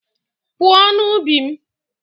Pụọ n'ubi m!